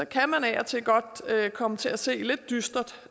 kan man af og til godt komme til at se lidt dystert